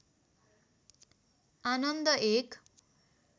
आनन्द एक